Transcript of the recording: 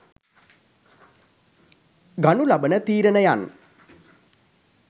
ගනු ලබන තීරනයන්